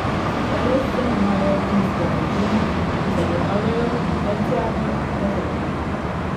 Eles zanimajo plinske turbine, ki zagotavljajo terciarno rezervo.